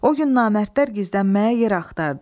O gün namərdlər gizlənməyə yer axtardı.